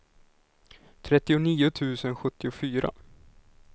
trettionio tusen sjuttiofyra